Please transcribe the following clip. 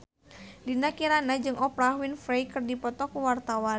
Dinda Kirana jeung Oprah Winfrey keur dipoto ku wartawan